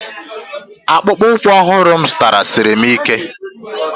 Akpụkpọ ụkwụ ọhụrụ m zụtara siri m ike.